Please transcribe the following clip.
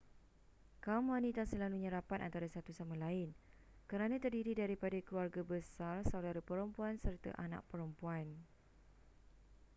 kaum wanita selalunya rapat antara satu sama lain kerana terdiri daripada keluarga besar saudara perempuan serta anak perempuan